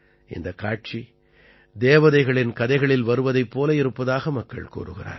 இந்தக் காட்சி தேவதைகளின் கதைகளில் வருவதைப் போல இருப்பதாக மக்கள் கூறுகிறார்கள்